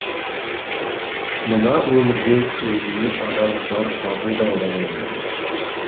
мына өмірде өзіңе адал жар табу да оңай емес